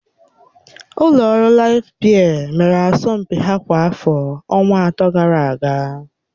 Ụlọ ọrụ Laịf biya mere asọmpi ha kwa afọ ọnwa atọ gara aga.